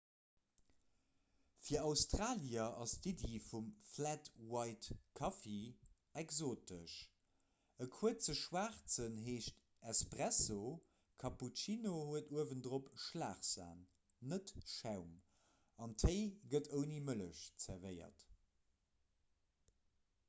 fir australier ass d'iddi vum 'flat white'-kaffi exotesch. e kuerze schwaarzen heescht 'espresso' cappuccino huet uewendrop schlagsan net schaum an téi gëtt ouni mëllech zerwéiert